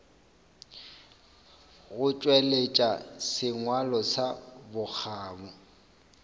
go tšweletša sengwalo sa bokgabo